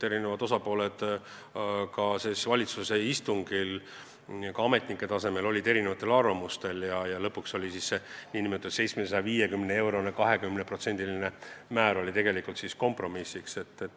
Eri osapooled olid ka ametnike tasemel valitsuse istungil erinevatel arvamustel ja lõpuks valiti kompromiss: tulumaksuga maksustataks 750-eurone töötasu, kusjuures maksumäär oleks 20%.